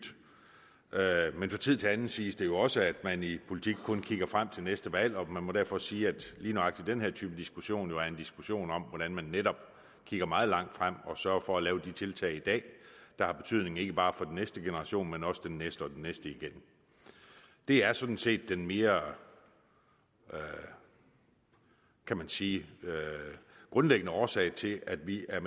men fra tid til anden siges det jo også at man i politik kun kigger frem til næste valg og man må derfor sige at lige nøjagtig den her type diskussion jo er en diskussion om hvordan man netop kigger meget langt frem og sørger for at lave de tiltag i dag der har betydning ikke bare for den næste generation men også den næste og den næste igen det er sådan set den mere man kan sige grundlæggende årsag til at vi er